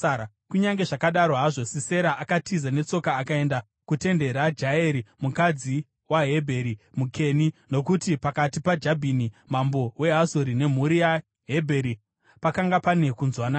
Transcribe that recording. Kunyange zvakadaro hazvo, Sisera akatiza netsoka akaenda kutende raJaeri, mukadzi waHebheri muKeni, nokuti pakati paJabhini mambo weHazori nemhuri yaHebheri pakanga pane kunzwanana.